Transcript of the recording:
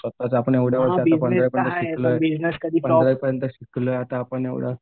स्वतःच्या आपण एवढे वर्ष पण अजूनपर्यंत केलेलं आहे आता आपण एवढं.